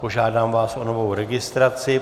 Požádám vás o novou registraci.